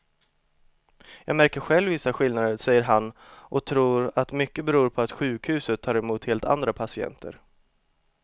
Jag märker själv vissa skillnader, säger han och tror att mycket beror på att sjukhuset tar emot helt andra patienter.